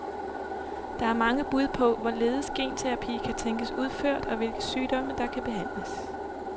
Der er mange bud på, hvorledes genterapi kan tænkes udført og hvilke sygdomme der kan behandles.